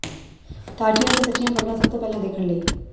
ਤਾਜੀਆਂ ਤੇ ਸੱਚੀਆਂ ਖਬਰਾਂ ਸਭ ਤੋਂ ਪਹਿਲਾਂ ਦੇਖਣ ਲਈ